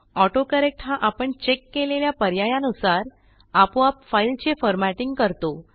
autocorrect हा आपण check केलेल्या पर्यायानुसार आपोआप फाईलचे फॉरमॅटिंग करतो